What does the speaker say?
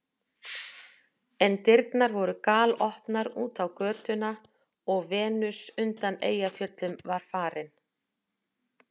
En dyrnar voru galopnar út á götuna og Venus undan Eyjafjöllum var farin.